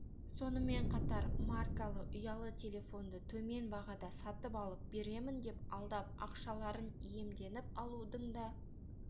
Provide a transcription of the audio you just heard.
сонымен қатар маркалы ұялы телефонды төмен бағада сатып алып беремін деп алдап ақшаларын иемденіп алудың да